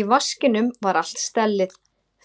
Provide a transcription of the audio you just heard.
Í vaskinum var allt stellið: